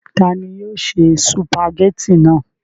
ta ni yóò ṣe sùpàgẹ́tì náà?